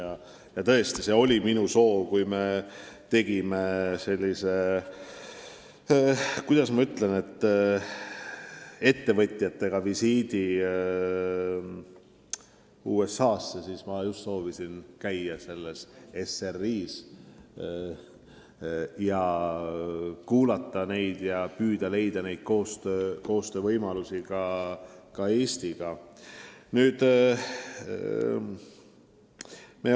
Aga kui me tegime ettevõtjatega selle, kuidas ma ütlen, visiidi USA-sse, siis ma soovisin ära käia SRI-s, kuulata neid ja püüda leida võimalusi nende koostööks Eestiga.